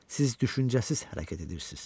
Siz düşüncəsiz hərəkət edirsiz.